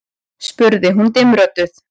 spurði hún dimmrödduð.